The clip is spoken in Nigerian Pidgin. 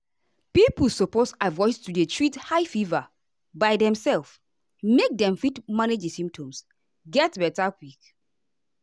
pipo suppose avoid to dey treat high fever by demself make dem fit manage di symptoms get beta quick.